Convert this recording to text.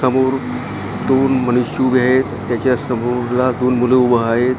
समोर दोन मनुष्य उभे आहेत त्याच्या समोर ला दोन मुल उभ आहेत .